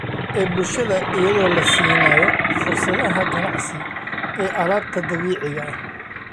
ee bulshada iyadoo la siinayo fursadaha ganacsi ee alaabta dabiiciga ah.